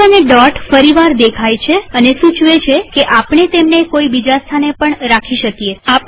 cursor અને dot ફરીવાર દેખાય છેઅને સૂચવે છે કે આપણે તેમને કોઈ બીજા સ્થાને પણ રાખી શકીએ